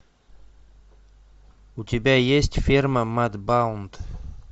у тебя есть ферма мадбаунд